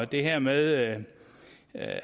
det her med